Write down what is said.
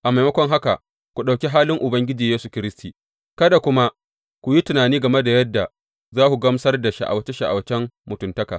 A maimakon haka, ku ɗauki halin Ubangiji Yesu Kiristi, kada kuma ku yi tunani game da yadda za ku gamsar da sha’awace sha’awacen mutuntaka.